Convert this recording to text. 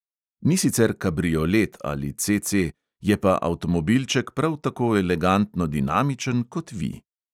Ni sicer kabriolet ali CC, je pa avtomobilček prav tako elegantno dinamičen kot vi.